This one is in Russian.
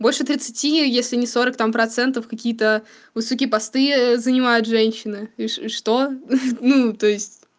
больше тридцати если не сорок там процентов какие-то высокие посты занимают женщины и ч что ну то есть